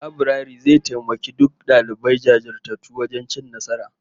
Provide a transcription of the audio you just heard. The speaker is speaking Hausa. Laburare zai taimaki duk dalibai jajirtattu wajen cin nasara